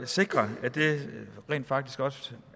sikre at det rent faktisk også